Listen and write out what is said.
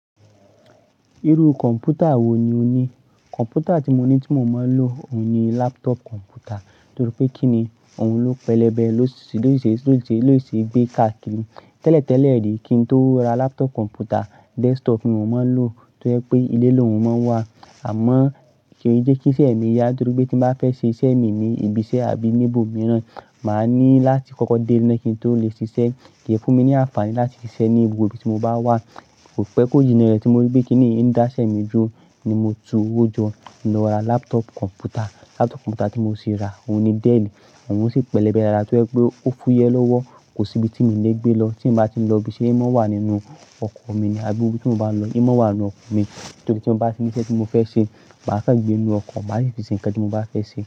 Irú kọ̀npútà wò ní ò ní? Kọ̀mpútà tí mo ní tí mo máa ń lò òun ni laptop kọ̀mpútà. Torí pé kí ni? Òun ló pẹlẹbẹ, ló si se, ló si ṣe, ló si ṣe gbé káàkiri. Tẹ́lẹ̀tẹ́lẹ̀ rí kí n tó ra laptop kọ̀mpútà, desktop ni mo máa ń lò tó jẹ́ pé ilé l'òun máa ń wà. Àmọ́ kíi jẹ́ kí iṣẹ́ mi yá torí pé tí n bá fẹ́ ṣe iṣẹ́ mii ní ibi iṣẹ́ àbí ní ibòmíràn, màá ní láti kókó dé ile kin tó lè ṣiṣẹ́. Kíi fún mi ní àǹfààní láti ṣiṣẹ́ ní gbogbo ibi tí mo bá wà. Kò pé kò jinna rẹ̀ tí mo rí pé kíni yìí ń dá iṣẹ́ mí dúró, ni mo tu owó jọ, ni mo ra laptop kọ̀mpútà. Laptop kọ̀mpútà tí mo sì ra òun ni Dell. Òun sì pẹlẹbẹ dáadáa tó jẹ́ pé o fúyẹ́ lọ́wọ́. Kò sí ibi tí mii lè gbé lọ tí n bá ti ń lọ ibi iṣẹ́, o máa wà nínú ọkọ̀ mi ní àbí ibi tí mo bá n lọ, o máa n wà nínú ọkọ̀ mi. Torí tí mo bá ti ní iṣẹ́ tí mo fẹ́ ṣe, màá kan gbé nínú ọkọ̀, màá sì fi ṣe ǹkan tí mo bá fẹ́ ṣe.